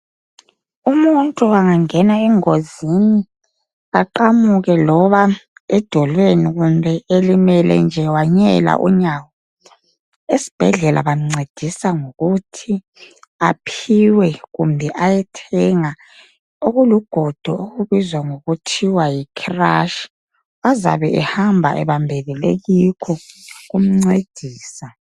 Umuntu angangena engozini aqamuke loba edolweni kumbeni elimele nje wanyela unyawo esibhedlela bamncedisa ngokuthi aphiwe kumbe ayethenga okulugodo okubizwa ngokuthi yi crush azabe ehamba ebambelele kikho kuncedisa.